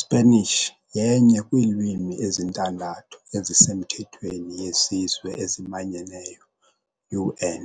Spanish yenye kwiilwimi ezintandathu ezisemthethweni yeZizwe eziManyeneyo, UN,